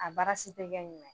A baara si tɛ kɛ ɲumɛn ye.